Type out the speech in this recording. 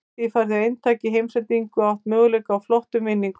Með því færðu eintak í heimsendingu og átt möguleika á flottum vinningum.